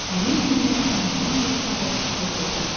Həmin gündən onların dostluğu pozuldu.